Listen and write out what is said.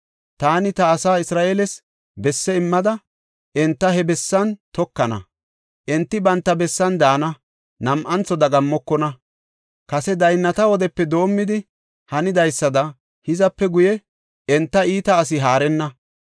Taani ta asaa Isra7eeles besse immada, enta he bessan tokana. Enti banta bessan daana; nam7antho dagammokona. Kase daynnata wodepe doomidi hanidaysada hizape guye enta iita asi haarenna.